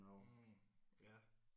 Mh ja